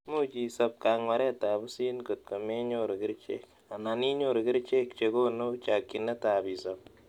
Much isop kang'waret ab pusit kotko menyuru kerichek, anan inyoru kerichek che konu chakchinet ab isop